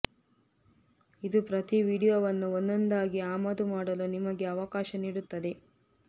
ಇದು ಪ್ರತಿ ವೀಡಿಯೊವನ್ನು ಒಂದೊಂದಾಗಿ ಆಮದು ಮಾಡಲು ನಿಮಗೆ ಅವಕಾಶ ನೀಡುತ್ತದೆ